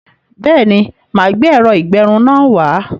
Béèni, máa gbé ẹ̀rọ-ìgbẹrun náà wá